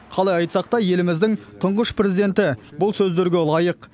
қалай айтсақ та еліміздің тұңғыш президенті бұл сөздерге лайық